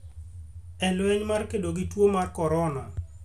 e lweny mar kedo gi tuo mar korona,